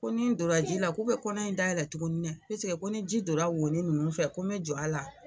Ko ni n donna ji la, k'u be kɔnɔ in dayɛlɛ tukuni dɛ ko ni ji don ra wonin nunnu fɛ ko n be jɔ a la.